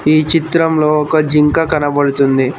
ఈ చిత్రంలో ఒక జింక కనబడుతుంది.